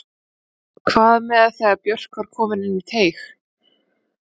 Hvað með þegar Björk var komin inn í teig?